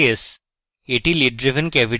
এটি lid driven cavity এর চিত্র